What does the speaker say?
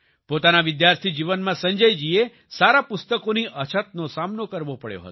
પોતાના વિદ્યાર્થી જીવનમાં સંજય જીએ સારા પુસ્તકોની અછતનો સામનો કરવો પડ્યો હતો